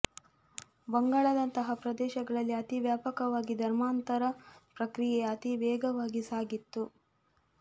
ಬಂಗಾಳದಂತಹ ಪ್ರದೇಶಗಳಲ್ಲಿ ಅತೀ ವ್ಯಾಪಕವಾಗಿ ಧರ್ಮಾಂತರ ಪ್ರಕ್ರಿಯೇ ಅತೀ ವೇಗವಾಗಿ ಸಾಗಿತ್ತು